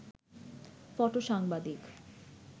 ফটো-সাংবাদিক